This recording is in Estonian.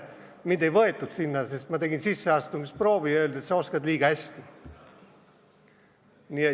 Mind ei võetud sinna, sest ma tegin sisseastumisproovi ja selle peale öeldi, et sa oskad liiga hästi.